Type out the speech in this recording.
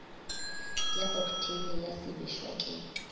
ya oktheine ya sebešwa ke